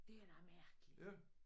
Det er da mærkeligt